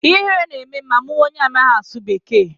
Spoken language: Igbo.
Ihere na-eme m ma m hụ onye amaghị asụ bekee.